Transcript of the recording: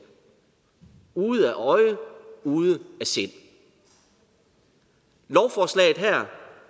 ude af øje ude af sind lovforslaget her